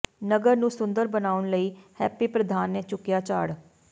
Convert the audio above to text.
ਨਗਰ ਨੂੰ ਸੁੰਦਰ ਬਣਾਉਣ ਲਈ ਹੈਪੀ ਪ੍ਰਧਾਨ ਨੇ ਚੁਕਿਆ ਝਾੜ